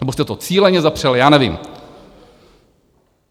Nebo jste to cíleně zapřeli, já nevím.